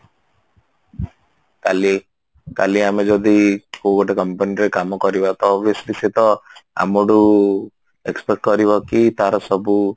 କାଲି କାଲି ଆମେ ଯଦି କଉ ଗୋଟେ company ରେ କାମ କରିବା ତ obviously ସେ ତ ଆମଠୁ expect କରିବ କି ତାର ସବୁ